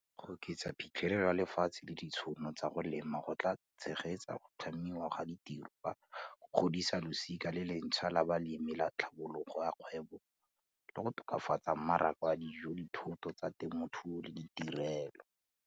Go oketsa phitlhelelo ya lefatshe le ditšhono tsa go lema go tla tshegetsa go tlhamiwa ga ditiro ka go godisa losika le le ntšhwa la balemi le tlhabololo ya kgwebo, le go tokafatsa mmaraka wa dijo, dithoto tsa temothuo le ditirelo.